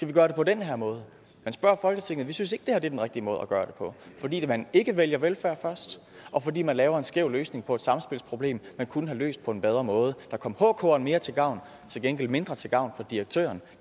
vi gøre det på den her måde men spørg folketinget vi synes ikke det her er den rigtige måde at gøre det på fordi man ikke vælger velfærd først og fordi man laver en skæv løsning på et samspilsproblem man kunne have løst på en bedre måde der kom hkeren mere til gavn og til gengæld var mindre til gavn for direktøren